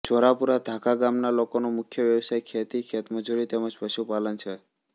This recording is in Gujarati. જોરાપુરા ધાખા ગામના લોકોનો મુખ્ય વ્યવસાય ખેતી ખેતમજૂરી તેમ જ પશુપાલન છે